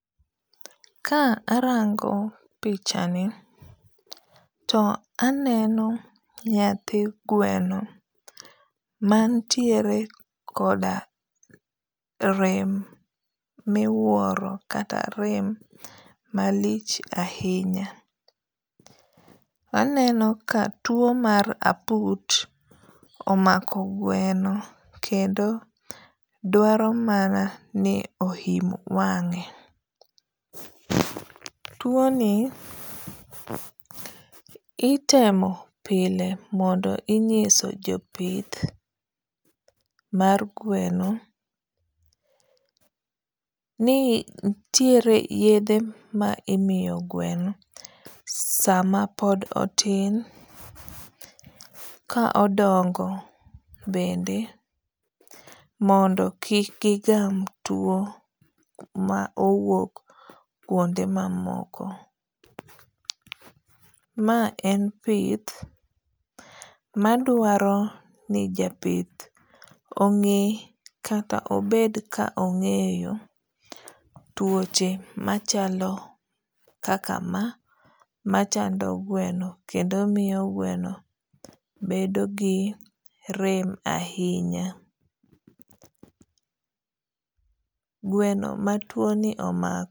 Ka arango pichani to aneno nyathi gweno mantiere koda rem miwuoro kata rem malich ahinya. Aneno ka tuo mar aput omako gweno kendo dwaro mana ni ohim wang'e. Tuo ni itemo pile mondo inyiso jopith mar gweno ni nitiere yedhe ma imiyo gweno sama pod otin ka odongo bende mondo kik gigam tuo ma owuok kuonde mamoko. Ma en pith madwaro ni japith ong'e kata obed ka ong'eyo tuoche machalo kaka ma machando gweno kendo miyo gweno bedo gi rem ahinya. Gweno ma tuo ni omako.